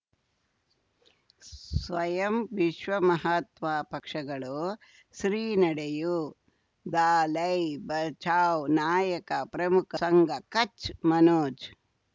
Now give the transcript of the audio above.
ಸ್ವಯಂ ವಿಶ್ವ ಮಹಾತ್ಮ ಪಕ್ಷಗಳು ಶ್ರೀ ನಡೆಯೂ ದಲೈ ಬಚೌ ನಾಯಕ ಪ್ರಮುಖ ಸಂಘ ಕಚ್ ಮನೋಜ್